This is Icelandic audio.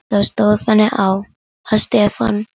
Þá stóð þannig á, að Stefán